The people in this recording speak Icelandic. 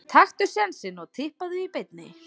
Taktu sénsinn og Tippaðu í beinni.